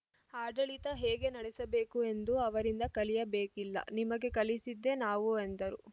ಆಡಳಿತ ಹೇಗೆ ನಡೆಸಬೇಕು ಎಂದು ಅವರಿಂದ ಕಲಿಯಬೇಕಿಲ್ಲ ನಿಮಗೆ ಕಲಿಸಿದ್ದೇ ನಾವು ಎಂದರು